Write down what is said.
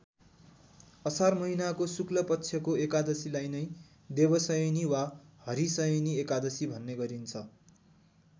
असार महिनाको शुक्लपक्षको एकादशीलाई नै देवशयनी वा हरिशयनी एकादशी भन्ने गरिन्छ।